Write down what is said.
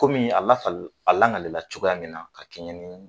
Kɔmi a lakali langali la cogoya min na ka kɛɲɛ ni